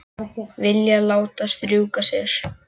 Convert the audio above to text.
Vilja láta strjúka sér.